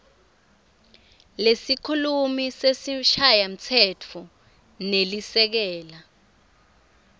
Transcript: lesikhulumi sesishayamtsetfo nelisekela